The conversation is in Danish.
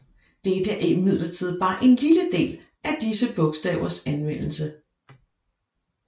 Dette er imidlertid bare en lille del af disse bogstavers anvendelse